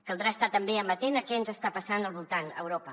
caldrà estar també amatent a què ens està passant al voltant a europa